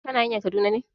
Kana hanayn Kaduna ne?